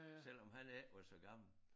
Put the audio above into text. Selvom han ikke var så gammel